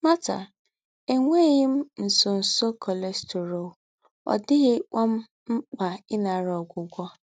Marta: “Ènwéghī m ńsọ́nsọ́ cholesterol, ọ̀ díghīkwá m m̀kpà ìnàrà ógwúgwọ̀.